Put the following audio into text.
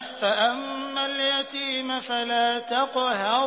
فَأَمَّا الْيَتِيمَ فَلَا تَقْهَرْ